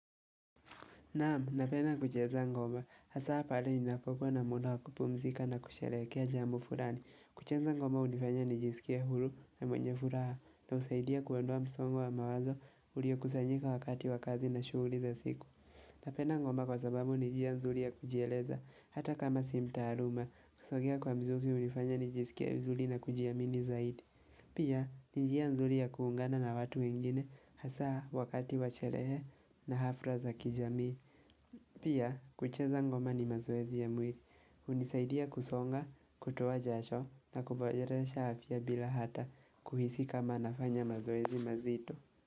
Naam, napenda kucheza ngoma, hasa pahali ninapokuwa na muda wa kupumzika na kusherehekea jambo fulani. Kucheza ngoma hunifanya nijiskie huru na mwenye furaha na husaidia kuondoa msongo wa mawazo uliokusanyika wakati wa kazi na shughuli za siku. Napenda ngoma kwa sababu ni njia nzuri ya kujieleza, hata kama sina taaluma, kusogea kwa mzuzi hunifanya nijiskie vizuri na kujiamini zaidi. Pia, ni njia nzuri ya kuungana na watu wengine, hasa wakati wa sherehe na hafla za kijamii. Pia, kucheza ngoma ni mazoezi ya mwili, hunisaidia kusonga, kutoa jasho na kuboresha afya bila hata kuhisi kama nafanya mazoezi mazito.